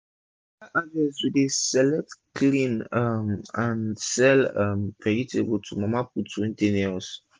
after harvest we dey select clean um and sell um vegetable to mama put dem wey dey near us